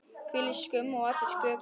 Hvílík skömm á allri sköpun.